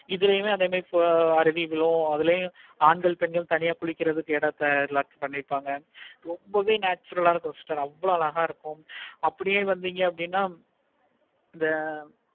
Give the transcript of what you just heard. இதுலயும் அதே மாதிரி அதுலயும் ஆண்கள் பெண்கள் தனியா குளிக்கிறதுக்கு ஏதவது பண்ணிருப்பாங்க. ரொம்பவே natural ஆஹ் இருக்கும். அவ்வளோ அழகா இருக்கும். அப்படியே வந்திங்கனா இந்த